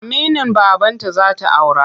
Aminin babanta za ta aura.